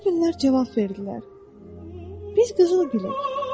Qızıl güllər cavab verdilər: "Biz qızıl gülüük."